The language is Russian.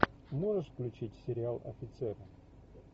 можешь включить сериал офицеры